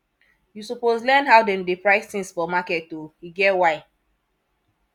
you suppose learn how dem dey price tins for market o e get why